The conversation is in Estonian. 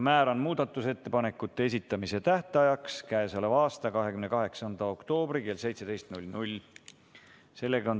Määran muudatusettepanekute esitamise tähtajaks k.a 28. oktoobri kell 17.